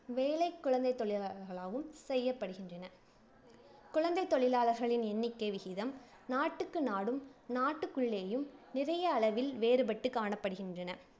வேலை குழந்தைத் தொழிலாளர்களாலும் செய்யப்படுகின்றன குழந்தைத் தொழிலாளர்களின் எண்ணிக்கை விகிதம் நாட்டுக்கு நாடும், நாடுகளுக்குள்ளேயும் நிறைய அளவில் வேறுபட்டு காணப்படுகின்றன.